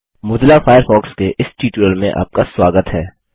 Mozilla Firefox के इस tutorial में आपका स्वागत है